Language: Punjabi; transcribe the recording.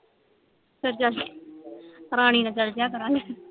ਫੇਰ ਜੱਸ ਰਾਣੀ ਨਾਲ ਚੱਲ ਜੀਆ ਕਰਾਂਗੇ